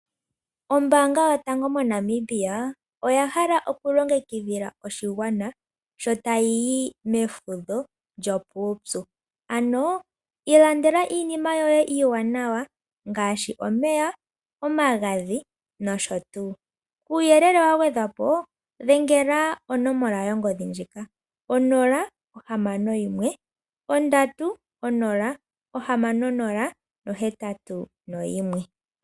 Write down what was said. Ombaanga yotango yopashigwana oya hala okulongekidhila oshigwana sho tayi yi mefudho lyopuupyuIlandela iinima yoye iiwanawa ngaashi omeya, omagadhi nosho tuu. Kuuyelele wa gwedhwa po dhengela konomola yongodhi ndjika 061 306081.